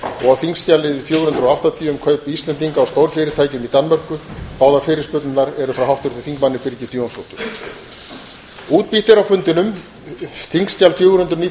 og á þingskjali fjögur hundruð og áttatíu um kaup íslendinga á stórfyrirtækjum í danmörku báðum frá háttvirtum þingmanni birgittu jónsdóttur